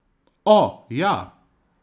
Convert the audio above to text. O, ja!